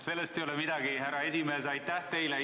Sellest ei ole midagi, härra esimees, aitäh teile!